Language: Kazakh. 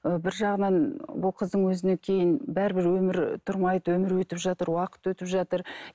ыыы бір жағынан бұл қыздың өзіне кейін бәрібір өмір тұрмайды өмір өтіп жатыр уақыт өтіп жатыр